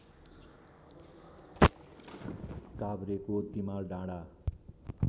काभ्रेको Timaldanda